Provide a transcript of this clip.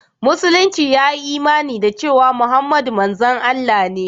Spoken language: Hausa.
Musulunci ya yi imani da cewa Muhammadu manzon Allah ne.